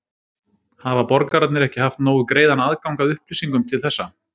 Hafa borgararnir ekki haft nógu greiðan aðgang að upplýsingum til þessa?